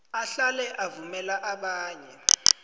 ahlale avumela abanye